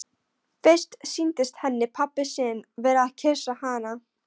Fyrst sýndist henni pabbi sinn vera að kyssa hana.